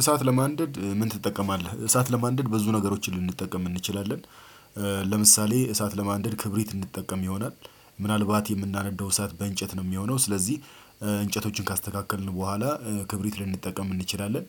እሳት ለማንደድ ምን ትጠቀማለህ? እሳት ለማንደድ ብዙ ነገሮችን ልንጠቀም እንችላለን። ለምሳሌ እሳት ለማንደድ ክብሪት እንድንጠቀም ይሆናል ምናልባት የምናነዳው እሳት በእንጨት ነው የሚሆነው ስለዚህ እንጨቶችን ካስተካከልን በኋላ ክብሪት ልንጠቀም እንችላለን።